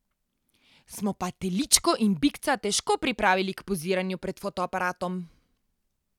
Smo pa teličko in bikca težko pripravili k poziranju pred fotoaparatom.